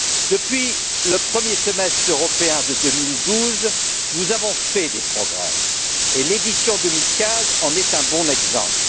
Depuis le premier Semestre européen de 2012, nous avons fait des progrès, et l'édition 2015 en est un bon exemple.